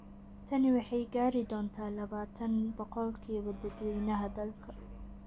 Tani waxay gaari doontaa labatan boqolkiiba dadweynaha dalka.